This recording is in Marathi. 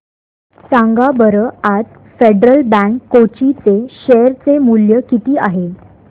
सांगा बरं आज फेडरल बँक कोची चे शेअर चे मूल्य किती आहे